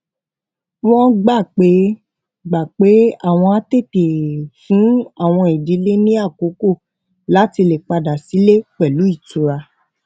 wón gbà pé gbà pé àwọn á tètè fún àwọn ìdílé ní àkókò láti lè padà sílé pẹlú ìtura